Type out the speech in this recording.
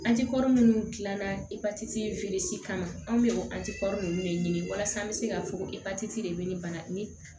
An ti kɔrɔ minnu gilanna epatiti in si kama anw bɛ o nunnu de ɲini walasa an be se ka fɔ ko de be ni bana ni